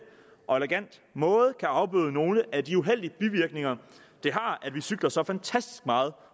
og elegant måde kan afbøde nogle af de uheldige bivirkninger det har at vi cykler så fantastisk meget